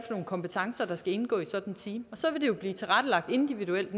nogle kompetencer der skal indgå i sådanne team og så vil det jo blive tilrettelagt individuelt